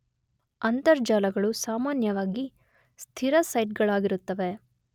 ಅಂತರ್ಜಾಲಗಳು ಸಾಮಾನ್ಯವಾಗಿ ಸ್ಥಿರ ಸೈಟ್ ಗಳಾಗಿರುತ್ತವೆ.